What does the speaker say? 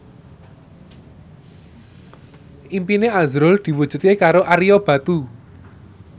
impine azrul diwujudke karo Ario Batu